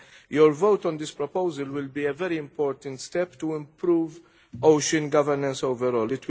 Your vote on this proposal will be a very important step towards improving ocean governance overall.